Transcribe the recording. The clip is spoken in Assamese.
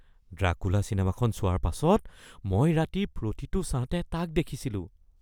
ড্ৰাকুলা চিনেমাখন চোৱাৰ পাছত মই ৰাতি প্ৰতিটো ছাঁতে তাক দেখিছিলোঁ